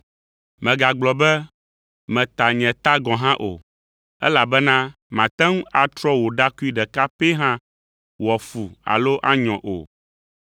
Mègagblɔ be meta ‘Nye ta’ gɔ̃ hã o, elabena màte ŋu atrɔ wò ɖakui ɖeka pɛ hã wòafu alo anyɔ o.